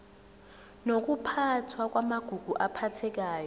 nokuphathwa kwamagugu aphathekayo